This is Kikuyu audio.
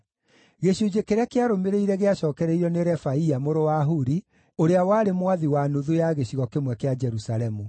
Gĩcunjĩ kĩrĩa kĩarũmĩrĩire gĩacookereirio nĩ Refaia mũrũ wa Huri ũrĩa warĩ mwathi wa nuthu ya gĩcigo kĩmwe kĩa Jerusalemu.